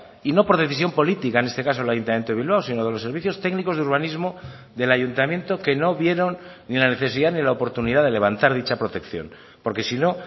y no por decisión política en este caso el ayuntamiento de bilbao sino de los servicios técnicos de urbanismo del ayuntamiento que no vieron ni la necesidad ni la oportunidad de levantar dicha protección porque si no